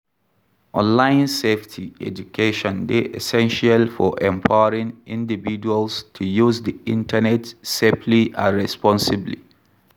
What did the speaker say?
Online safety education dey essential for empowering individuals to use di internet safely and responsibly.